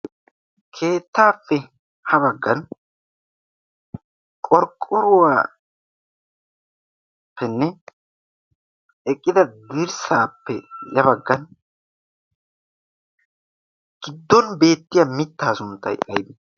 keettaappe ha baggan qorqqoruwaappenne eqqida dirssaappe a baggan giddon beettiya mittaa sunttai aibi?